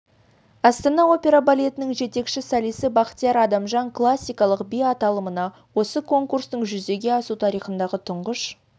астана опера балетінің жетекші солисі бахтияр адамжан классикалық би аталымында осы конкурстың жүзеге асу тарихындағы тұңғыш